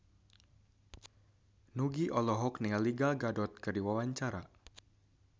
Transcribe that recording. Nugie olohok ningali Gal Gadot keur diwawancara